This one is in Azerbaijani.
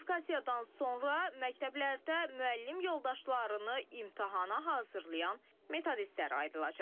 Sertifikasiyadan sonra məktəblərdə müəllim yoldaşlarını imtahana hazırlayan metodistlər ayrılacaq.